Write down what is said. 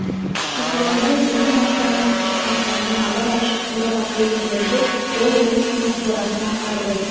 шықырламай жеңіл ашылатын кіші қақпаны абай ашып қораға кірген жерде ол орыс үйдің қорасын аңғарды